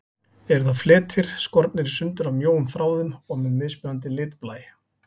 Eru það fletir, skornir í sundur af mjóum þráðum og með mismunandi litblæ.